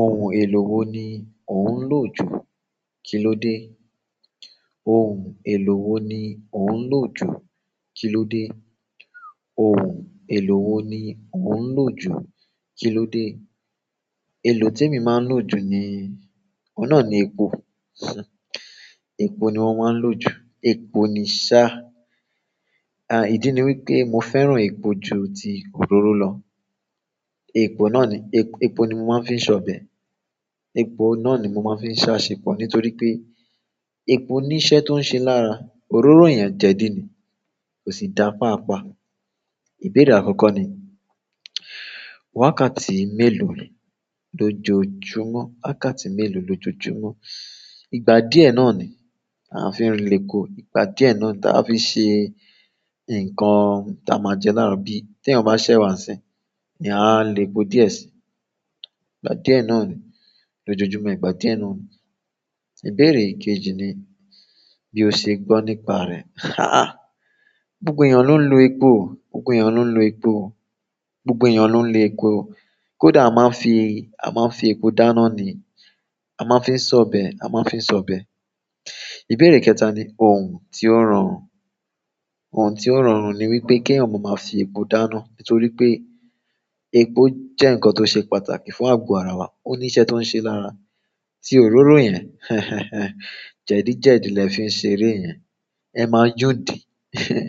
Ohun èlò wo ni ò ń lò ju kí ló dé? Ohun èlò wo ni ò ń lò ju kí ló dé? Ohun èlò wo ni ò ń lò ju kí ló dé? Èlò te mi máa ń lò jù ni, ọ̀un nà ni epo, ṣé, epo ni mo máa ń lò jù, epo ni sá. À, ìdí ni wípé mo fẹ́ràn epo ju ti òróró lọ. Epo náà ni, epo, epo ni mo máa ń fi ṣọ̀bẹ̀. Epo náà ni mo maa n fi sasepo nítorí pe epo ni iṣẹ́ to n se laara òróró yen jedi ni kosi da paapa. Ìbéèrè àkọ́kọ́ ni, wákàtí mélòó lò jó júmọ̀? Wákàtí mélòó lò jó júmọ̀? Ìgbà díẹ̀ náà ni a fi ń rí lepo. Ìgbà díẹ̀ náà ni ta fi ṣe ǹkan ta máa jẹ láàárọ̀ bí tí ẹyan bá ṣẹ̀ ewá nsín ni a lè po díẹ̀ sí. Ìgbà díẹ̀ náà ni lò jó júmọ̀, ìgbà díẹ̀ náà ni. Ìbéèrè ikejì ni, bí o ṣe gbọ́ nípa rẹ̀. Hah! Gbogbo èeyàn ló ń lo epo. Gbogbo èeyàn ló ń lo epo. Gbogbo ènìyàn ló ń lo epo. Kódà a máa ń fi, a máa ń fi epo dáná ni, a máa ń fi ṣọ̀bẹ̀, a máa ń fi ṣọ̀bẹ̀. Ìbéèrè kẹta ni, òhún tí ó rọrùn. Òhún tí ó rọrùn ni wípé kí ẹ̀eyan ma máa fi epo dáná nítorí pé epo jẹ́ ǹkan tó ṣe pàtàkì fún àgbo ara wa, ó ní iṣẹ́ tó ń ṣe lára tí òróró yẹn, hẹhẹn, jẹ́dìí, jẹ́dìí lè fi ń ṣeré yẹn. Ẹ máa yúndì, ehin,